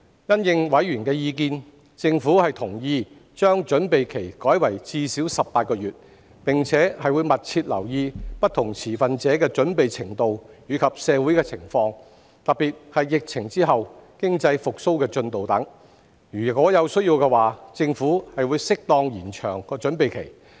因應委員的意見，政府同意將準備期改為至少18個月，並會密切留意不同持份者的準備程度及社會情況，特別是疫情後的經濟復蘇進度等；如有需要，政府會適當延長準備期。